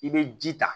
I bɛ ji ta